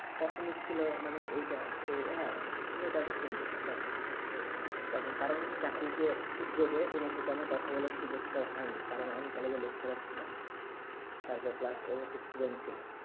প্রশ্ন ছিল মানে এইটা যে হেঁ মেটা তো সুন্দর তাখন কারণ চাকরি তে সূর্যোগে ও মাসে তো আমার কথা বলা সুযোগে তা হইয়া নি কারণ college এর lecturer ছিলাম তার পরে ছিল